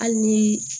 Hali ni